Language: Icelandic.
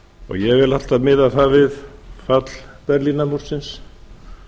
og ég vil alltaf miða það við fall berlínarmúrsins